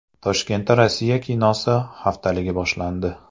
Toshkentda Rossiya kinosi haftaligi boshlandi.